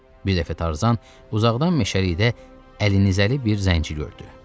Bir dəfə Tarzan uzaqdan meşəlikdə əlində nizəli bir zəncini gördü.